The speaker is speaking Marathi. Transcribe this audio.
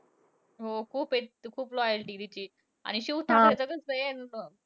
हो. खूप आहे तिची खूप loyalty तिची. आणि शिव ठाकरेचं कसंय अं